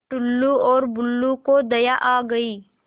टुल्लु और बुल्लु को दया आ गई